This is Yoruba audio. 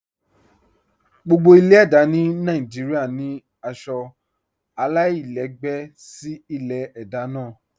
Gbogbo ilẹ̀-èdá ni Nàìjíríà ni aṣọ alailẹgbẹ sí ilẹ̀-èdá náà.